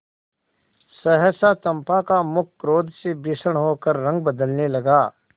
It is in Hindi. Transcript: सहसा चंपा का मुख क्रोध से भीषण होकर रंग बदलने लगा